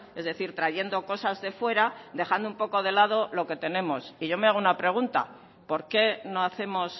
es decir trayendo cosas de fuera dejando un poco de lado lo que tenemos y yo me hago una pregunta por qué no hacemos